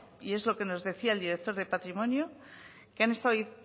y es lo que nos decía el director de patrimonio que han estado